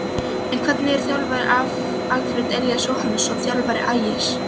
En hvernig þjálfari er Alfreð Elías Jóhannsson, þjálfari Ægis?